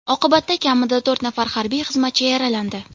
Oqibatda kamida to‘rt nafar harbiy xizmatchi yaralandi.